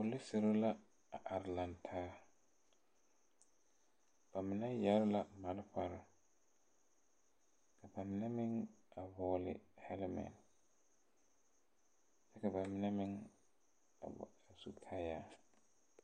Poliserre la a are lang taa ba mine yɛre la malfarre ka ba mine meŋ a vɔgle a hɛlmɛn kyɛ ka ba mine meŋ a su kaayaa.